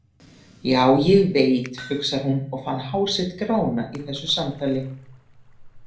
Já, ég veit, hugsar hún og fann hár sitt grána í þessu samtali.